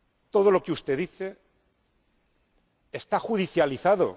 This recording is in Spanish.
Todo lo que usted dice está judicializado.